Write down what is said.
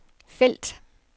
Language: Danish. felt